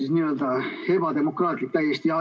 See on täiesti ebademokraatlik.